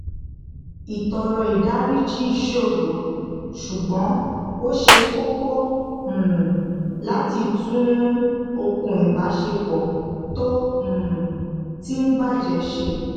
ìtọọrọ ìdáríjì ṣòro ṣùgbón ó ṣe kókó um láti tún okùn ìbásepọ tó um ti ń bàjẹ ṣe